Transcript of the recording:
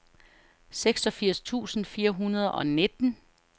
seksogfirs tusind fire hundrede og nitten